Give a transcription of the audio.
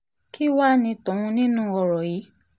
kí wàá ní tòun nínú ọ̀rọ̀ yìí